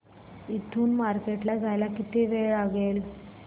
इथून मार्केट ला जायला किती वेळ लागेल